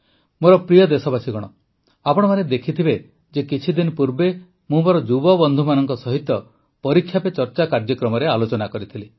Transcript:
ମୋର ପ୍ରିୟ ଦେଶବାସୀଗଣ ଆପଣମାନେ ଦେଖିଥିବେ ଯେ କିଛିଦିନ ପୂର୍ବେ ମୁଁ ମୋର ଯୁବବନ୍ଧୁମାନଙ୍କ ସହିତ ପରୀକ୍ଷା ପେ ଚର୍ଚ୍ଚା କାର୍ଯ୍ୟକ୍ରମରେ ଆଲୋଚନା କରିଥିଲି